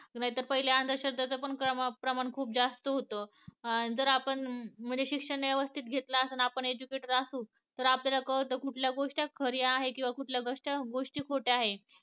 नाहीतर पहिले अंधश्रद्धेचं प्रमाण पण खूप जास्त होत. जर आपण म्हणजे शिक्षण व्यवस्थित घेतलं असू आणि आपण educated असू तर आपल्याला कळत कुठल्या गोष्टी खरी आहे किंवा कुठली गोष्ट या खोट्या आहेत